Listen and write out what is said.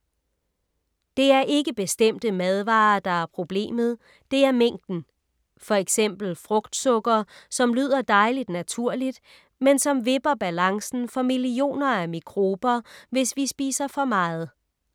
Det er ikke bestemte madvarer, der er problemet, det er mængden. For eksempel frugtsukker, som lyder dejligt naturligt, men som vipper balancen for millioner af mikrober, hvis vi spiser for meget.